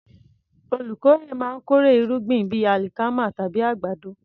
Olùkórè máa ń kórè irúgbìn bíi alikama tàbí àgbàdo.